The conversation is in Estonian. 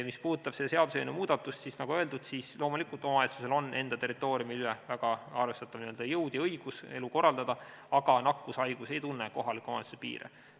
Mis puudutab seaduseelnõus pakutud muudatust, siis nagu öeldud, loomulikult on omavalitsusel enda territooriumil väga arvestatav jõud ja õigus elu korraldada, aga nakkushaigus ei tunne kohalike omavalitsuste piire.